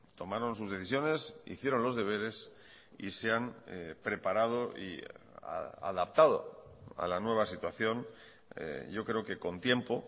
tomaron sus decisiones hicieron los deberes y se han preparado y adaptado a la nueva situación yo creo que con tiempo